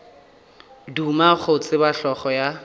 duma go tseba hlogo ya